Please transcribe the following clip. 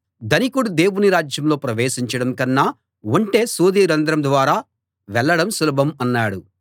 ధనికుడు దేవుని రాజ్యంలో ప్రవేశించడం కన్నా ఒంటె సూది రంధ్రం ద్వారా వెళ్ళడం సులభం అన్నాడు